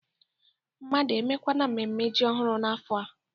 Mmadụ emekwana mmemme ji ọhụrụ n'afọ a?